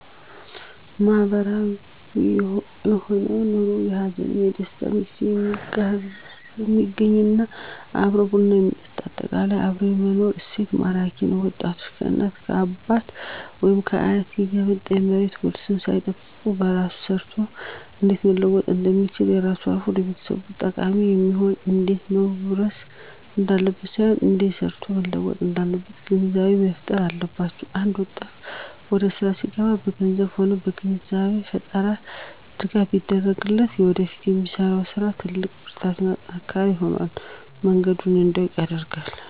ማህበራዊ የሆነ ኑሮ በሀዘንም በደስታም ጊዜ የሚገናኝ እና አብሮ ቡና የሚጠጣ በአጠቃላይ አብሮ የመኖር እሴት ማራኪ ነዉ ወጣቶች ከእናት ከአባት ወይም ከአያት የሚመጣ የመሬት ዉርስን ሳይጠብቅ በራሱ ሰርቶ እንዴት መለወጥ እንደሚችልና ከራሱም አልፎ ለቤተሰብ ጠቃሚ እንዲሆን እንዴት መዉረስ እንዳለበት ሳይሆን እንዴት ሰርቶ መለወጥ እንዳለበት ግንዛቤ መፋጠር አለባቸዉ አንድ ወጣት ወደስራ ሲገባ በገንዘብም ሆነ የግንዛቤ ፈጠራ ድጋፍ ቢደረግለት ለወደፊቱ ለሚሰራዉ ስራ ትልቅ ብርታትና ጥንካሬ ይሆነዋል መንገዱንም እንዲያዉቅ ይረዳዋል